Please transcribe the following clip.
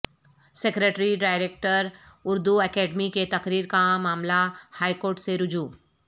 secretary director Urdu academy کے تقرر کا معاملہ ہائی کورٹ سے رجوع